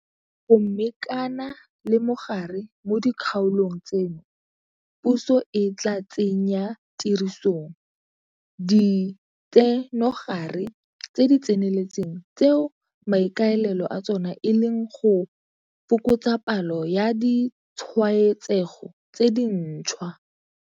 Go mekana le mogare mo dikgaolong tseno, puso e tla tsenyatirisong ditsenogare tse di tseneletseng tseo maikaelelo a tsona e leng go fokotsa palo ya ditshwaetsego tse dintšhwa.